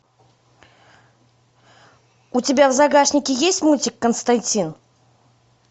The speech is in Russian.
у тебя в загашнике есть мультик константин